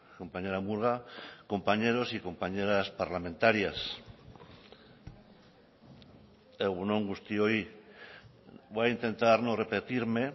compañera murga compañeros y compañeras parlamentarias egun on guztioi voy a intentar no repetirme